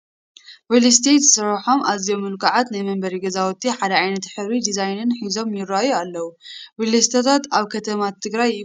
ሪልስቴት ዝሰርሖም ኣዝዮም ምልኩዓት ናይ መንበሪ ገዛውቲ ሓደ ዓይነት ሕብርን ዲዛይንን ሒዞይ ይርአዩ ኣለዉ፡፡ ሪልስቴታት ኣብ ከተማታት ትግራይ ይፍለጡ ዶ?